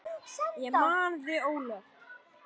Ég man þig, Ólöf.